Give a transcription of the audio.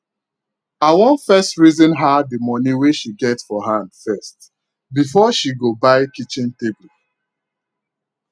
awak first reason her the money wey she get for hand first before she go buy kitchen table